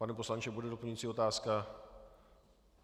Pane poslanče, bude doplňující otázka?